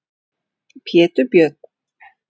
Pétur Björn.